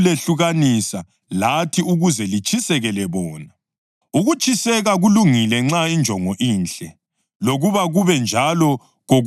Ukutshiseka kulungile nxa injongo inhle, lokuba kube njalo kokuphela, hatshi kuphela nxa ngilani.